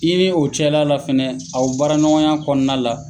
I ni o cɛla la fɛnɛ aw baara ɲɔgɔnya kɔnɔna la.